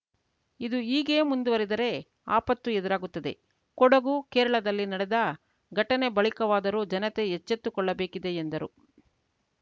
ಇದು ಹೀಗೆ ಮುಂದುವರಿದರೆ ಆಪತ್ತು ಎದುರಾಗುತ್ತದೆ ಕೊಡುಗು ಕೇರಳದಲ್ಲಿ ನಡೆದ ಘಟನೆ ಬಳಿಕವಾದರೂ ಜನತೆ ಎಚ್ಚೆತ್ತುಕೊಳ್ಳಬೇಕಿದೆ ಎಂದರು